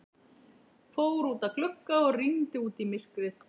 Fór út að glugga og rýndi út í myrkrið.